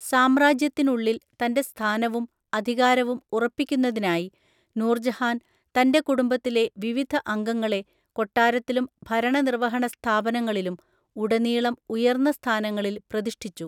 സാമ്രാജ്യത്തിനുള്ളിൽ തന്റെ സ്ഥാനവും അധികാരവും ഉറപ്പിക്കുന്നതിനായി, നൂർജഹാൻ തന്റെ കുടുംബത്തിലെ വിവിധ അംഗങ്ങളെ കൊട്ടാരത്തിലും ഭരണനിര്‍വഹണ സ്ഥാപനങ്ങളിലും ഉടനീളം ഉയർന്ന സ്ഥാനങ്ങളിൽ പ്രതിഷ്ഠിച്ചു.